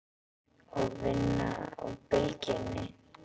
Og vinna á Bylgjunni?